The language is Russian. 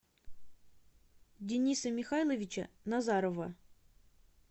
дениса михайловича назарова